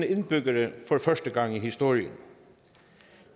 indbyggere for første gang i historien